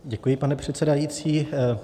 Děkuji, pane předsedající.